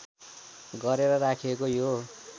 गरेर राखिएको यो